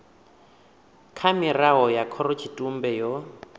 kha mirao ya khorotshitumbe yo